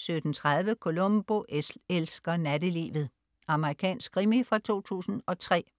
17.30 Columbo elsker nattelivet. Amerikansk krimi fra 2003